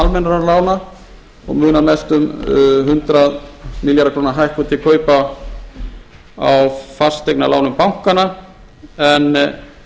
almennra lána og munar mestu um hundrað milljarða króna hækkun til kaupa á fasteignalánum bankanna en